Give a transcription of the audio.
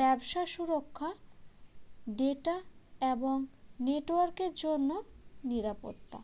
ব্যবসা সুরক্ষা data এবং network এর জন্য নিরাপত্তা